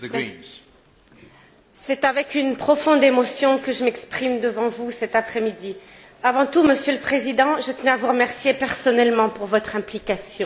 Monsieur le Président, c'est avec une profonde émotion que je m'exprime devant vous cet après midi. Avant tout, Monsieur le Président, je tenais à vous remercier personnellement pour votre implication.